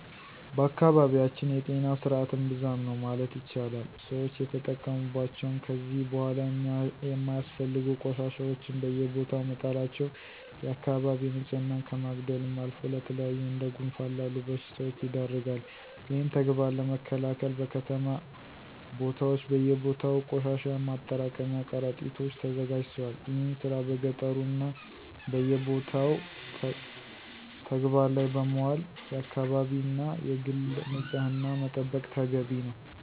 በአካባቢያችን የጤና ስርዐት እምብዛም ነው ማለት ይቻላል። ሰወች የተጠቀሙባቸውን ከዚ በኋላ የማያስፈልጉ ቆሻሻወችን በየቦታው መጣላቸው የአከባቢ ንፅህናን ከማጉደልም አልፎ ለተለያዩ እንደ ጉንፋን ላሉ በሽታወች ይዳርጋል። ይህን ተግባር ለመከላከል በከተማ ቦታወች በየቦታው ቆሻሻን ማጠራቀሚያ ቀረጢቶች ተዘጋጅተዋል። ይህን ስራ በገጠሩ እና በየቦታው ተግበባር ላይ በማዋል የአከባቢን እና የግልን ንፅህና መጠበቅ ተገቢ ነው።